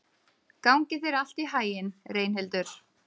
Gangi þér allt í haginn, Reynhildur.